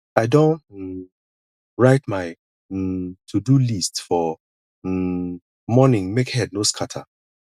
i don um write my um todo list for um morning make head no scatter